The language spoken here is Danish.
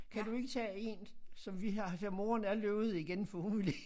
Kan du ikke taget én som vi har der moren er løbet igen for hun ville ikke